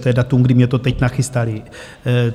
To je datum, kdy mně to teď nachystali.